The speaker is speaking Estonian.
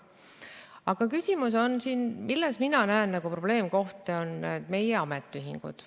Aga küsimus, milles mina näen probleemkohta, on meie ametiühingud.